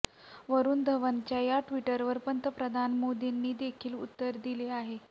वरूण धवनच्या या ट्विटवर पंतप्रधान मोदींनी देखील उत्तर दिले आहे